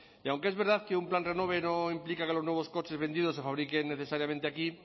y aunque es verdad que un plan renove no implica que los nuevos coches vendidos se fabriquen necesariamente aquí